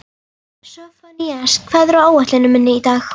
Sophanías, hvað er á áætluninni minni í dag?